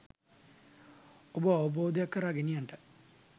ඔබව අවබෝධයක් කරා ගෙනියන්නට.